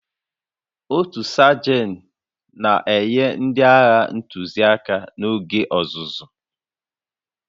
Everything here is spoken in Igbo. Otu Sajan na-enye ndị agha ntụziaka n'oge ọzụzụ